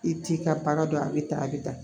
I t'i ka baara dɔn a bɛ tan a bɛ tan